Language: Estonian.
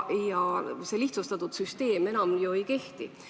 Kunagine lihtsustatud süsteem enam ju ei kehti.